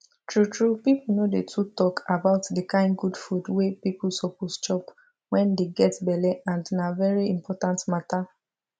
true true people no dey too talk about the kind good food wey people suppose chop wen dey get belle and na very important matter